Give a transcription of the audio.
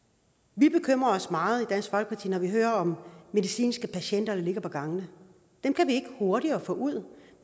vi bekymrer os meget i dansk folkeparti når vi hører om medicinske patienter der ligger på gangene dem kan vi ikke hurtigere få ud